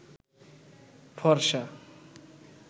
ফর্সা